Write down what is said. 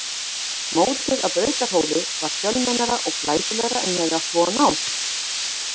Mótið að Brautarhóli var fjölmennara og glæsilegra en ég hafði átt von á.